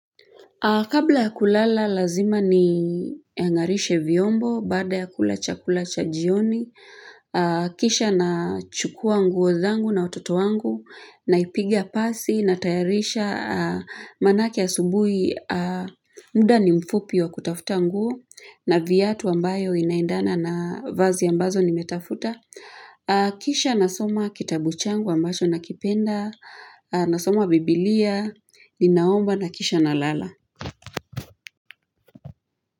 Kabla ya kulala lazima ning'arishe vyombo baada ya kula chakula cha jioni. Kisha na chukua nguo zangu na wototo wangu na ipiga pasi na tayarisha manaayake asubuhi muda ni mfupi wa kutafuta nguo na viatu ambayo inaendana na vazi ambazo nimetafuta. Kisha nasoma kitabu changu ambacho na kipenda nasoma biblia, inaomba na kisha na lala.